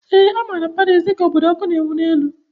Ee, a maara Paris dị ka obodo ọkụ na ewu n'elu